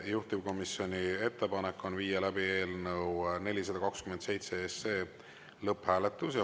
Juhtivkomisjoni ettepanek on viia läbi eelnõu 427 lõpphääletus.